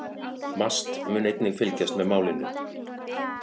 MAST mun einnig fylgjast með málinu